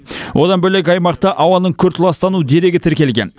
одан бөлек аймақта ауаның күрт ластану дерегі тіркелген